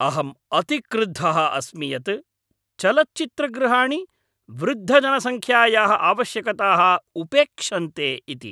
अहम् अतिक्रुद्धः अस्मि यत् चलच्चित्रगृहाणि वृद्धजनसङ्ख्यायाः आवश्यकताः उपेक्षन्ते इति।